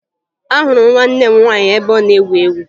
Ahụrụ m nwanne m nwaanyị ebe ọ na-egwu egwu